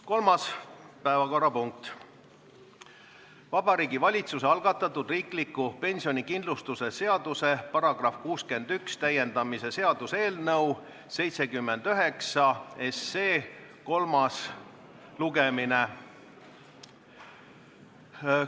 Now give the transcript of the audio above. Kolmas päevakorrapunkt on Vabariigi Valitsuse algatatud riikliku pensionikindlustuse seaduse § 61 täiendamise seaduse eelnõu 79 kolmas lugemine.